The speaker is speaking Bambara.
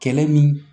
Kɛlɛ min